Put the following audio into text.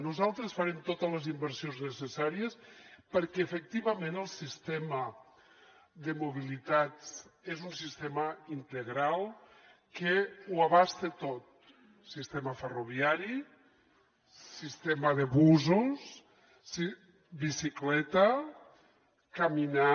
nosaltres farem totes les inversions necessàries perquè efectivament el sistema de mobilitat és un sistema integral que ho abasta tot sistema ferroviari sistema de busos bicicleta caminar